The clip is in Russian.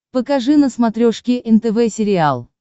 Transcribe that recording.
покажи на смотрешке нтв сериал